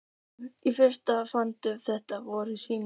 Í fyrstu fannst þeim þetta voða sniðugt.